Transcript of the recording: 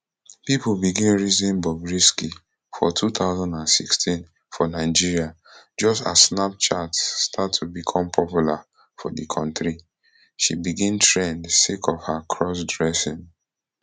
pipo begin reason bobrisky for two thousand and sixteen for nigeria just as snapchat start to become popular for di kontri she begin trend sake of her crossdressing